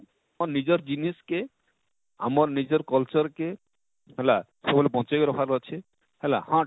ତାକର ନିଜର ଜିନିଷ କେ ଆମର ନିଜର culture କେ ହେଲା ସବୁବେଳେ ବଞ୍ଚେଇ କରି ରଖବାର ଅଛେ ହେଲା,